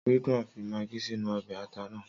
Ridwan fi magí sínú ọbẹ̀ ata náà.